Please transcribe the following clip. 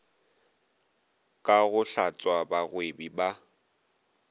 ka go hlatswa bagwebi ba